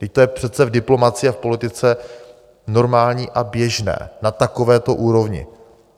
Vždyť to je přece v diplomacii a v politice normální a běžné na takovéto úrovni.